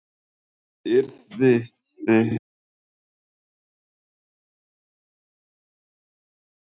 Yrði það ekki stórslys að klúðra því að komast upp núna?